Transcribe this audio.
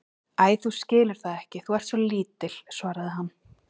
Æi, þú skilur það ekki, þú ert svo lítil, svaraði hann.